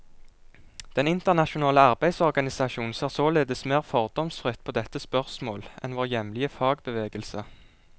Den internasjonale arbeidsorganisasjon ser således mer fordomsfritt på dette spørsmål enn vår hjemlige fagbevegelse.